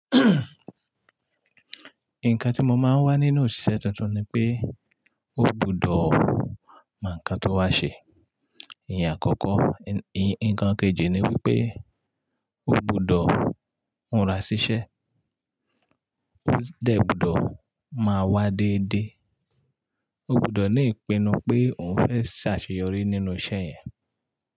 Nǹkan tí mo máa ń wá nínú òṣìṣẹ́ tuntun ni pé, o gbudọ̀ mọ nǹkan tó wá ṣe ìyẹn àkọ́kọ́. Nǹkan kejì ni wípé o gbudọ̀ múra síṣẹ́, ó sì dẹ gbọdọ̀ máa wá déédé. O gbudọ̀ ní ìpinnu pé òun fẹ́ ṣàṣeyọrí nínú iṣẹ́ yẹn.